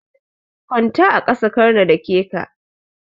Kwanta a ƙasa karna dake ka.